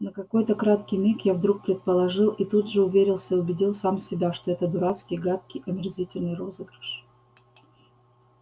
на какой-то краткий миг я вдруг предположил и тут же уверился убедил сам себя что это дурацкий гадкий омерзительный розыгрыш